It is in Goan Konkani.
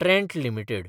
Trent limited